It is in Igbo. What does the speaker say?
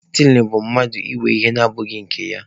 Stiling bụ mmadụ ịwe ihe na abụghị nke ya.